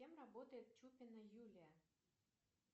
кем работает чупина юлия